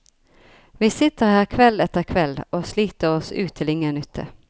Vi sitter her kveld etter kveld og sliter oss ut til ingen nytte.